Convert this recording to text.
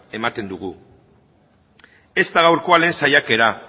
ematen dugu ez da gaurkoa lehen saiakera